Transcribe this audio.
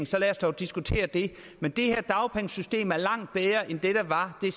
så lad os dog diskutere det men det her dagpengesystem er langt bedre end det der var det